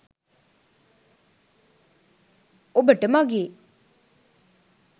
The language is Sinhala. ඔබට මගේ